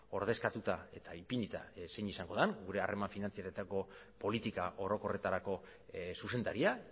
ordezkatuta eta ipinita zein izango den gure harreman finantzarioetako politika orokorretarako zuzendaria